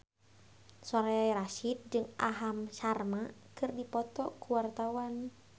Soraya Rasyid jeung Aham Sharma keur dipoto ku wartawan